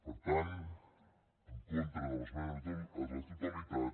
per tant en contra de l’esmena a la totalitat